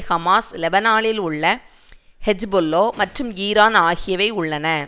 Hamas லெபனானில் உள்ள Hezbollah மற்றும் ஈரான் ஆகியவை உள்ளன